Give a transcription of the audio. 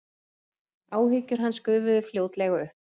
Áhyggjur hans gufuðu fljótlega upp.